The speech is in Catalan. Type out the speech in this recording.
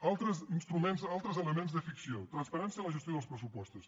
altres instruments altres elements de ficció transparència a la gestió dels pressupostos